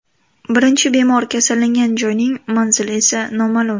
Birinchi bemor kasallangan joyning manzili esa noma’lum.